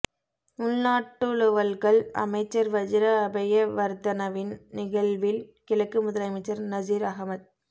உள்நாட்டலுவல்கள் அமைச்சர் வஜிர அபேயவர்தனவின் நிகழ்வில் கிழக்கு முதலமைச்சர் நஸீர் அஹமட்